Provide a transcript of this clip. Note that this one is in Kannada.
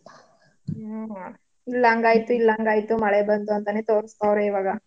ಹ್ಮ. ಇಲ್ಲ್ ಅಂಗಾಯ್ತು ಇಲ್ಲ್ ಅಂಗಾಯ್ತು ಮಳೆ ಬಂತು ಅಂತಾನೆ ತೋರ್ಸ್ತವ್ರೆ ಇವಾಗ.